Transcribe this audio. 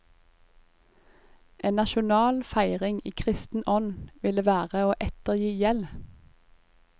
En nasjonal feiring i kristen ånd ville være å ettergi gjeld.